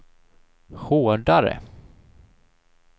hårdare